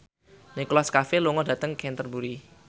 Nicholas Cafe lunga dhateng Canterbury